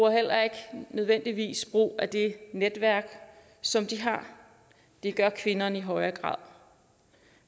heller ikke nødvendigvis brug af det netværk som de har det gør kvinderne i højere grad